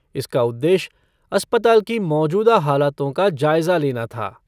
इसका उद्देश्य अस्पताल की मौजूदा हालातों का जायज़ा लेना था।